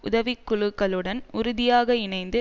உதவிக்குழுக்களுடன் உறுதியாக இணைந்து